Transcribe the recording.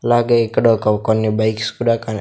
అలాగే ఇక్కడ ఒక కొన్ని బైక్స్ కూడా కన్--